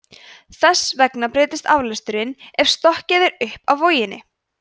þess vegna breytist aflesturinn ef stokkið er upp af voginni